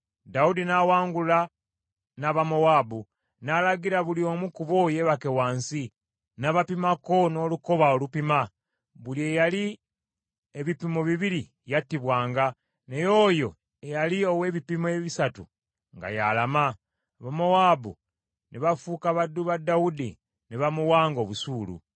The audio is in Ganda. Dawudi n’awangula n’Abamowaabu, n’alagira buli omu ku bo yebake wansi, n’abapimako n’olukoba olupima. Buli eyali ebipimo bibiri yattibwanga, naye oyo eyali ow’ebipimo ebisatu nga y’alama. Abamowaabu ne bafuuka baddu ba Dawudi ne bamuwanga obusuulu.